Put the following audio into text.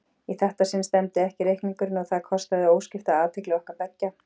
Í þetta sinn stemmdi ekki reikningurinn og það kostaði óskipta athygli okkar beggja.